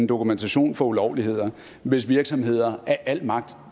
dokumentation for ulovligheder hvis virksomheder af al magt